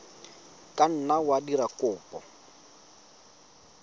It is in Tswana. ka nna wa dira kopo